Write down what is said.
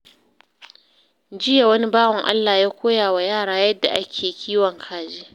Jiya, wani bawan Allah ya koya wa yara yadda ake kiwon kaji.